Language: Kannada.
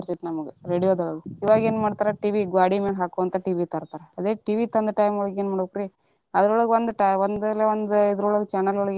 ನಮ್ಗ radio ದೊಳಗ ಇವಾಗೇನ್ ಮಾಡ್ತಾರಾ TV ಗ್ವಾಡಿ ಮ್ಯಾಲೆ ಹಾಕೊಂತ TV ತರ್ತಾರ ಅದೇ TV ತಂದ time ಒಳಗ ಏನ ಮಾಡ್ಬೇಕರಿ ಅದ್ರೊಳಗ ಒಂದ ಇಲ್ಲಾ ಒಂದ channel ಒಳಗ.